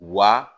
Wa